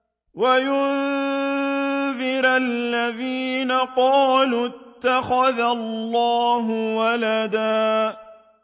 وَيُنذِرَ الَّذِينَ قَالُوا اتَّخَذَ اللَّهُ وَلَدًا